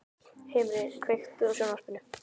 Himri, kveiktu á sjónvarpinu.